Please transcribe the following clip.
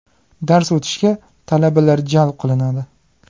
Dars o‘tishga talabalar jalb qilinadi.